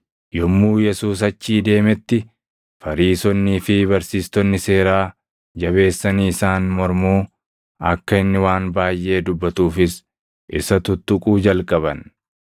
Yommuu Yesuus achii deemetti, Fariisonnii fi barsiistonni seeraa jabeessanii isaan mormuu, akka inni waan baayʼee dubbatuufis isa tuttuquu jalqaban.